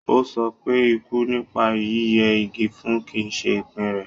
Ó sọ pé ikú nípa yíyẹ igi fun kì í ṣe ìpín rẹ̀.